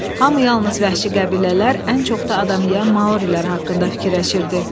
Hamı yalnız vəhşi qəbilələr, ən çox da adam yeyən Maorilər haqqında fikirləşirdi.